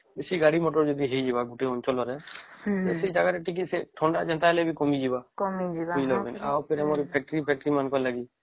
ବେଶୀ ଗାଡି ମୋଟର ଯଦି ହେଇଯିବ ଗୋଟେ ଜାଗାରେ ହେଇଯିବ ସେଠି ଥଣ୍ଡା ଟିକେ କମିଯିବ ଆଉ ସେଠି ଆମର factory ଲାଗି